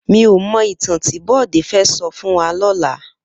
Mi ó mò itàn ti Bode fè sò fún wà lòlá